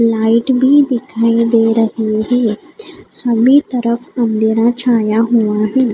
Light भी दिखाई दे रही है सभी तरफ अँधेरा छाया हुआ है।